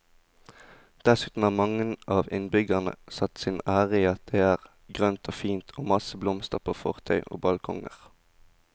Dessuten har mange av innbyggerne satt sin ære i at det er grønt og fint og masse blomster på fortau og balkonger.